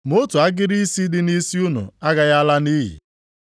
Ma otu agịrị isi dị nʼisi unu agaghị ala nʼiyi.